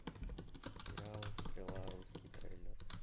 сериал стрела русский трейлер